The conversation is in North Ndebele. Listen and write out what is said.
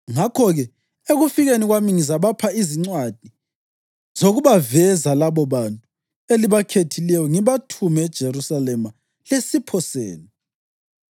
Ngakho-ke, ekufikeni kwami ngizabapha izincwadi zokubaveza labobantu elibakhethileyo ngibathume eJerusalema lesipho senu.